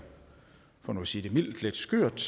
for nu at sige det mildt lidt skørt